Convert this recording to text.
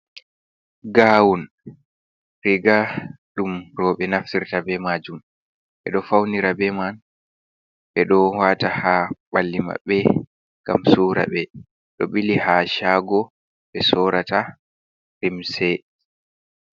Gawun, riga ɗum roɓe naftirta be majum ɓe ɗo faunira be man, ɓe ɗo wata ha ɓalli maɓɓe gam sura ɓe. Ɗo bili ha shago, ɓe sorata lumse.